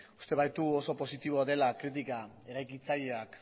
uste baitugu oso positiboa dela kritika eraikitzaileak